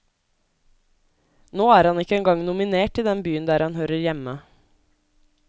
Nå er han ikke engang nominert i den byen der han hører hjemme.